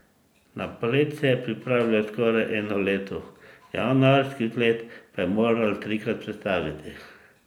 Na polet se je pripravljal skoraj eno leto, januarski vzlet pa je moral trikrat prestaviti.